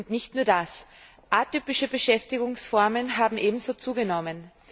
Und nicht nur das Atypische Beschäftigungsformen haben ebenso zugenommen.